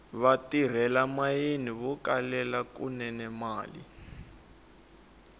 vatirhela mayini vo kelela kunene mali